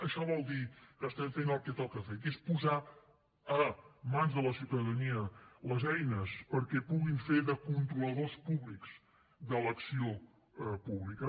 això vol dir que estem fent el que toca fer que és posar a mans de la ciutadania les eines perquè puguin fer de controladors públics de l’acció pública